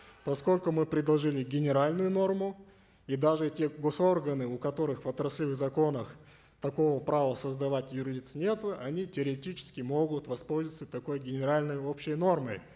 поскольку мы предложили генеральную норму и даже те гос органы у которых в отраслевых законах такого права создавать юр лиц нету они теоретически могут воспользоваться такой генеральной общей нормой